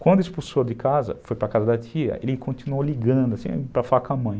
Quando expulsou de casa, foi para casa da tia, ele continuou ligando, assim, para falar com a mãe.